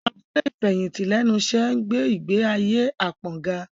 Àwọn abúlé ìfẹ̀yìntì lẹ́nu iṣẹ́ ń gbé ìgbé ayé apon ga